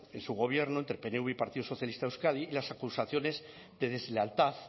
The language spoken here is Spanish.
en su gobierno entre el pnv y partido socialista de euskadi y las acusaciones de deslealtad